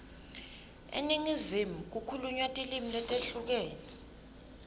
eningizimu kukhulunywa tilimi letehlukene